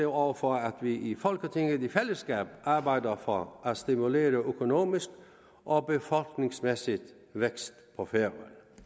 over for at vi i folketinget i fællesskab arbejdede for at stimulere økonomisk og befolkningsmæssig vækst på færøerne